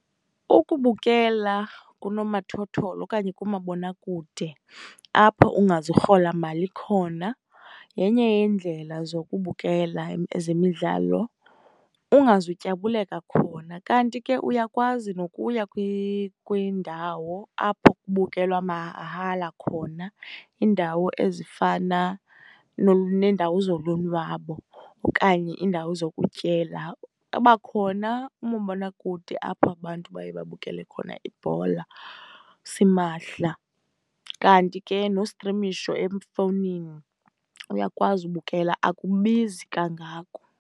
Ukubukela kunomathotholo okanye kumabonakude, apho ungazurhola mali khona yenye yeendlela zokubukela ezemidlalo, ungazutyabuleka khona. Kanti ke uyakwazi nokuya kwiindawo apho kubukelwa mahala khona, iindawo ezifana neendawo zolonwabo okanye iindawo zokutyela. Babakhona oomabonakude apho abantu baye babukele khona ibhola simahla. Kanti ke nostrimisho efowunini uyakwazi ubukela, akubizi kangako.